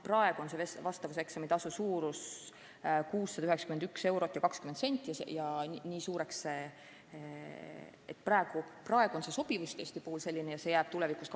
Praegu on vastavuseksami tasu suurus 691 eurot ja 20 senti ning nii suureks see esialgu ka jääb.